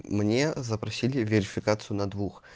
мне запросили верификацию на двух